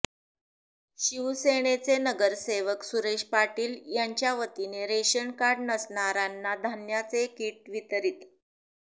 शिवसेनेचे नगरसेवक सुरेश पाटील यांच्या वतीने रेशनकार्ड नसणाऱ्याना धान्याचे किट वितरित